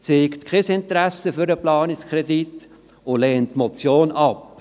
Er zeigt kein Interesse am Planungskredit und lehnt diese Motion ab.